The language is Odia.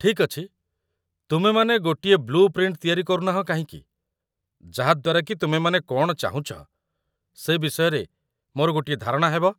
ଠିକ୍ ଅଛି, ତୁମେମାନେ ଗୋଟିଏ ବ୍ଲୁ ପ୍ରିଣ୍ଟ ତିଆରି କରୁନାହଁ କାହିଁକି ଯାହାଦ୍ୱାରା କି ତୁମେମାନେ କ'ଣ ଚାହୁଁଛ ସେ ବିଷୟରେ ମୋର ଗୋଟିଏ ଧାରଣା ହେବ ।